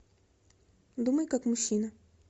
думай как мужчина